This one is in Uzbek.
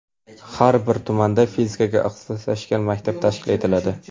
Har bir tumanda fizikaga ixtisoslashgan maktab tashkil etiladi.